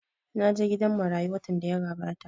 Na je gidan marayu watan da ya gabata